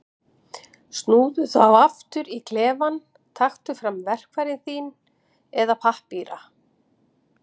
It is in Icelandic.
Snúðu þá aftur í klefann, taktu fram verkfæri þín eða pappíra.